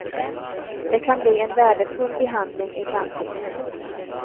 Det kan bli en värdefull behandling i framtiden.